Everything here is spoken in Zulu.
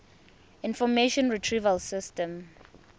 information retrieval system